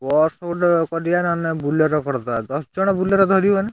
Bus ଗୋଟେ କରିଆ ନହେଲେ ନାହିଁ, Bolero କରିଦବା ଦଶଜଣ Bolero ଧରିବ ନା?